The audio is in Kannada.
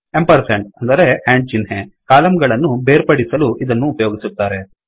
ಎಂಪರ್ಸೆಂಡ್ ಅಂದರೆ ಏಂಡ್ ಚಿಹ್ನೆ ಕಾಲಮ್ ಗಳನ್ನು ಬೇರ್ಪಡಿಸಲು ಇದನ್ನು ಉಪಯೋಗಿಸುತ್ತಾರೆ